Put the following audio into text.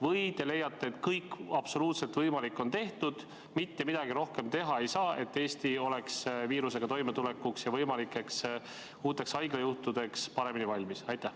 Või te leiate, et absoluutselt kõik võimalik on tehtud ja mitte midagi rohkem teha ei saa, et Eesti oleks viirusega toimetulekuks ja võimalikeks uuteks haiglajuhtudeks paremini valmis?